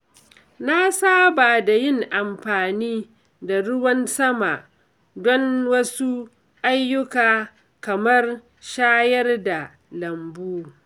Na saba da yin amfani da ruwan sama don wasu ayyuka kamar shayar da lambu.